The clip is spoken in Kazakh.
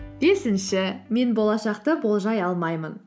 бесінші мен болашақты болжай алмаймын